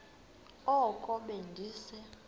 oko be ndise